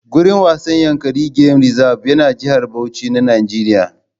Gurin wasan Yankari gem rizab yana Jihar Bauchi na Nijeriya